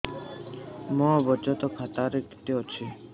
ମୋ ବଚତ ଖାତା ରେ କେତେ ଅଛି